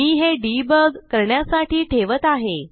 मी हे डिबग करण्यासाठी ठेवत आहे